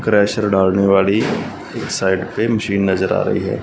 Crusher डालने वाली एक साइड पे मशीन नज़र आ रही है।